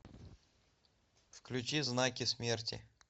включи знаки смерти